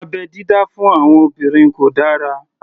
Abẹ́ dídá fún àwọn obìnrin kò dára